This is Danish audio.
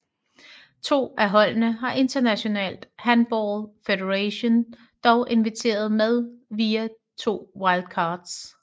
To af holdene har International Handball Federation dog inviteret med via to wildcards